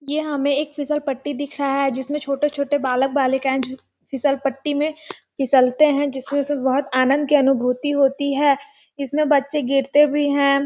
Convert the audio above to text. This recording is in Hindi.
यह हमें एक फिसल पट्टी दिख रहा हैं जिसमें छोटे-छोटे बालक बालिकाए झूल फिसल पट्टी में फिसलते है जिसमें उन्हैं बहुत आनंद की अनुभूति होती हैं इसमें बच्चे गिरते भी है।